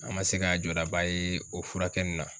An ma se k'an jɔlaba ye o furakɛ nun na